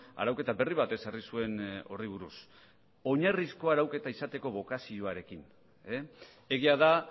arauketa berri bat ezarri zuen horri buruz oinarrizko arauketa izateko bokazioarekin egia da